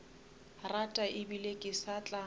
rata ebile ke sa tla